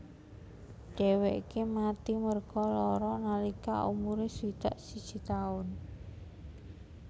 Dheweke mati merga lara nalika umure swidak siji taun